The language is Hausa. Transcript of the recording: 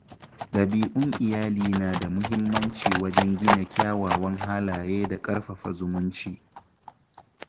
Dabi’un iyali na da muhimmanci wajen gina kyawawan halaye da ƙarfafa zumunci.